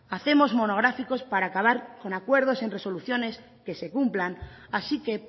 hacemos monográficos para acabar con acuerdos y en resoluciones que se cumplan así que